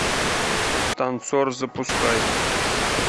танцор запускай